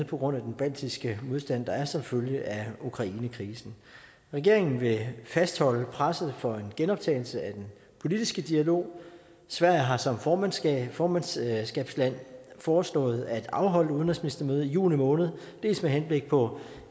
på grund af den baltiske modstand der er som følge af ukrainekrisen regeringen vil fastholde presset for en genoptagelse af den politiske dialog sverige har som formandskabsland formandskabsland foreslået at afholde et udenrigsministermøde i juni måned dels med henblik på